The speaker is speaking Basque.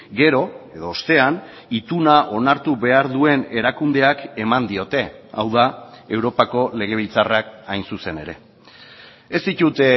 gero edo ostean ituna onartu behar duen erakundeak eman diote hau da europako legebiltzarrak hain zuzen ere ez ditut